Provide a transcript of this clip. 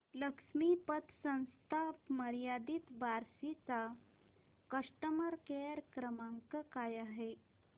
लक्ष्मी पतसंस्था मर्यादित बार्शी चा कस्टमर केअर क्रमांक काय आहे